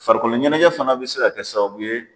Farikolo ɲɛnajɛ fana bɛ se ka kɛ sababu ye